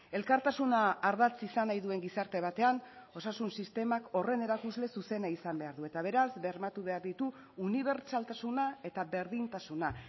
elkartasuna ardatz izan nahi duen gizarte batean osasun sistemak horren erakusle zuzena izan behar du eta beraz bermatu behar ditu unibertsaltasuna eta berdintasuna